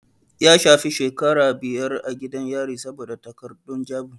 Ya shafe shekaru biyar a gidan yari saboda takardun jabu.